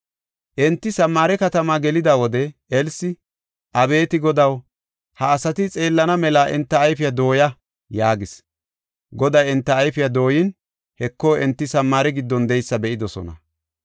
Enti Samaare katamaa gelida wode Elsi, “Abeeti Godaw, ha asati xeellana mela enta ayfiya dooya” yaagis. Goday enta ayfiya dooyin, Heko, enti Samaare giddon de7eysa be7idosona.